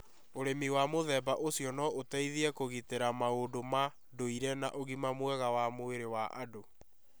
Ũrĩmi wa mũthemba ũcio no ũteithie kũgitĩra maũndũ ma ndũire na ũgima mwega wa mwĩrĩ wa andũ.